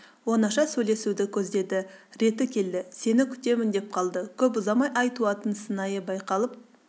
оңаша сөйлесуді көздеді реті келді сені күтемін деп қалды көп ұзамай ай туатын сыңайы байқалып